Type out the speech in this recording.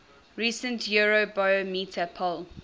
recent eurobarometer poll